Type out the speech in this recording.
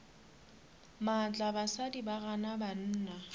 maatla basadi ba gana banna